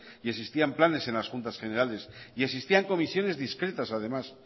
y existían planes en las juntas generales existían comisiones discretas además